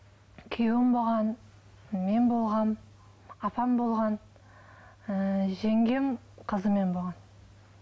күйеуім болған мен болғанмын апам болған ыыы жеңгем қызымен болған